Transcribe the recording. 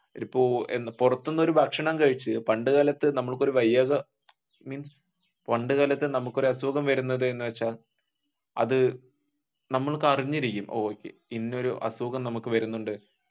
ഇപ്പൊ പുറത്തുനിന്നു ഒരു ഭക്ഷണം കഴിച്ചു പണ്ട് കാലത്തു നമുക്ക് ഒരു വയ്യായിക പണ്ടുകാലത്തെ നമുക്ക് ഒരു അസുഖം വരുന്നത് എന്നുവെച്ചാൽ അത് നമ്മള്ക്ക് അറിഞ്ഞിരിക്കും ഇന്ന ഒരു അസുഖം നമുക്ക് വരുന്നുണ്ട്